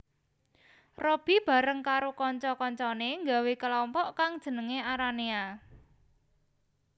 Robby bareng karo kanca kancané nggawé kalompok kang jenengé Aranea